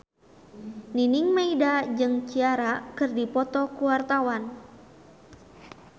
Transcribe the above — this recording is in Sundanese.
Nining Meida jeung Ciara keur dipoto ku wartawan